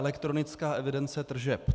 Elektronická evidence tržeb.